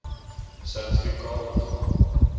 sertifikaat ontvang